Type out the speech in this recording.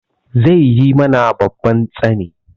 Zai yi mana babban tsani.